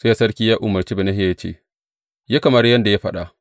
Sai sarki ya umarci Benahiya ya ce, Yi kamar yadda ya faɗa.